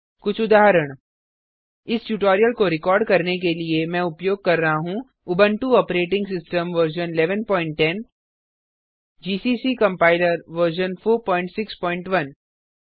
कुछ उदाहरण इस ट्यूटोरियल को रिकॉर्ड करने के लिए मैं उपयोग कर रहा हूँ Ubuntu operating system version 1110 GCC compiler version 461